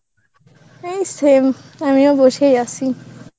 এই same. আমিও বসেই আছি.